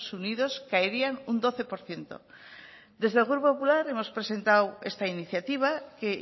unidos caerían un doce por ciento desde el grupo popular hemos presentado esta iniciativa que